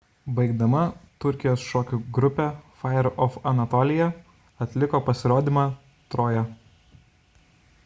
baigdama turkijos šokių grupė fire of anatolia atliko pasirodymą troja